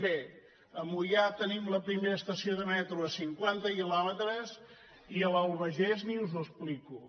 bé a moià tenim la primera estació de metro a cinquanta quilòmetres i a l’albagés ni us ho explico